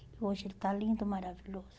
Hoje ele está lindo, maravilhoso.